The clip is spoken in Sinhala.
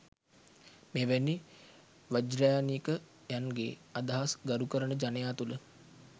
මෙවැනි වජ්‍රයානිකයන්ගේ අදහස් ගරු කරන ජනයා තුළ